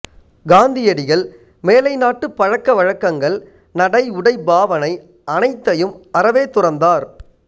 காந்தியடிகள் மேலை நாட்டு பழக்கவழக்கங்கள் நடை உடை பாவனை அனைத்தையும் அறவே துறந்தார்